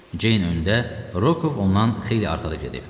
Ceyn öndə, Rokov ondan xeyli arxada gedib.